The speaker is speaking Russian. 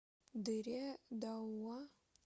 дыре дауа